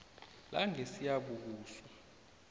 langesiyabuswa